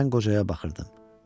Mən qocaya baxırdım.